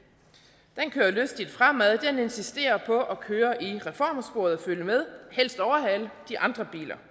den kører lystigt fremad den insisterer på at køre i reformsporet og følge med helst overhale de andre biler